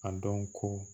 A dɔn ko